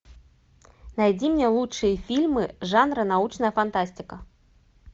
найди мне лучшие фильмы жанра научная фантастика